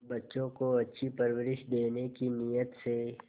बच्चों को अच्छी परवरिश देने की नीयत से